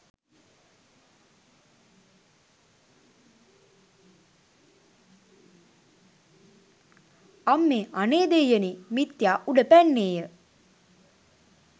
අම්මේ! අනේ දෙයියනේ!'' මිත්යා උඩ පැන්නේය